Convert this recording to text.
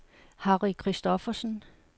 Harry Christophersen